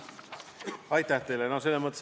Aitäh teile!